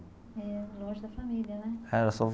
É longe da família, né? Era só.